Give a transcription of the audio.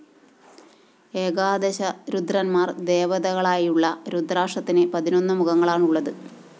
ഏകാദശ രുദ്രന്‍മാര്‍ ദേവതകളായുള്ള രുദ്രാക്ഷത്തിന് പതിനൊന്ന് മുഖങ്ങളാണുള്ളത്